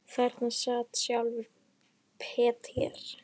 Þarna sat sjálfur Peter